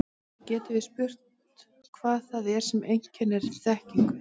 Og þá getum við spurt hvað það er sem einkennir þekkingu.